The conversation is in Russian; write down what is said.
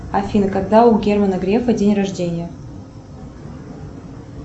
афина когда у германа грефа день рождения